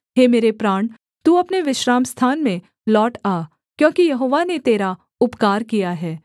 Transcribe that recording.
हे मेरे प्राण तू अपने विश्रामस्थान में लौट आ क्योंकि यहोवा ने तेरा उपकार किया है